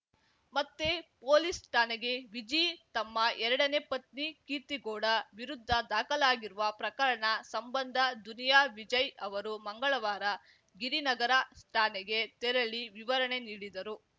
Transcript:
ಮತ್ತೆ ಪೊಲೀಸ್‌ ಠಾಣೆಗೆ ವಿಜಿ ತಮ್ಮ ಎರಡನೇ ಪತ್ನಿ ಕೀರ್ತಿಗೌಡ ವಿರುದ್ಧ ದಾಖಲಾಗಿರುವ ಪ್ರಕರಣ ಸಂಬಂಧ ದುನಿಯಾ ವಿಜಯ್‌ ಅವರು ಮಂಗಳವಾರ ಗಿರಿನಗರ ಠಾಣೆಗೆ ತೆರಳಿ ವಿವರಣೆ ನೀಡಿದರು